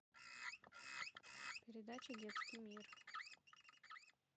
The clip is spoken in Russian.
передача детский мир